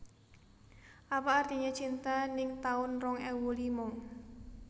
Apa Artinya Cinta ning taun rong ewu lima